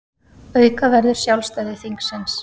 Auka verður sjálfstæði þingsins